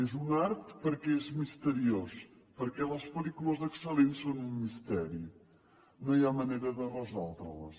és un art perquè és misteriós perquè les pel·lícules excel·lents són un misteri no hi ha manera de resoldre les